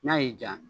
N'a y'i jaa